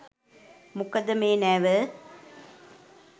මොකද මේ නැව